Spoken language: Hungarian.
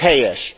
Ez helyes!